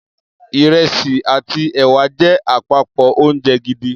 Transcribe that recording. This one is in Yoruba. Ìrẹsì àti ẹ̀wà jẹ́ àpapọ̀ oúnjẹ gidi.